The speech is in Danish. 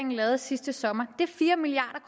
lavede sidste sommer det er fire milliard